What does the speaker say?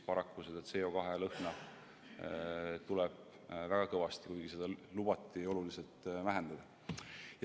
Paraku on CO2 lõhna tunda väga kõvasti, kuigi seda lubati oluliselt vähendada.